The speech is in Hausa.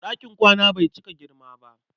Ɗakin kwana bai cika girma ba.